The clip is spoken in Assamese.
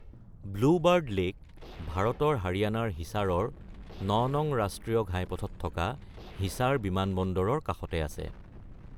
ব্লু বাৰ্ড লেক ভাৰতৰ হাৰিয়ানাৰ হিছাৰৰ ৯ নং ৰাষ্ট্ৰীয় ঘাইপথত থকা হিছাৰ বিমানবন্দৰৰ কাষতে আছে।